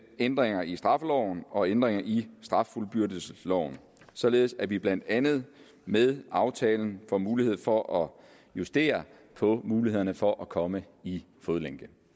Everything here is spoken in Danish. ændringer i straffeloven og ændringer i straffuldbyrdelsesloven således at vi blandt andet med aftalen får mulighed for at justere på mulighederne for at komme i fodlænke